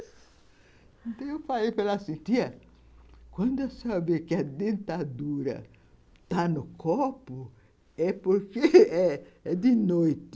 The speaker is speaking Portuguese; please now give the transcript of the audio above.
Então, eu falei para ela assim, tia, quando eu souber que a dentadura está no corpo, é porque é de noite.